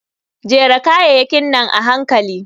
Jera kayayakin nan a hankali.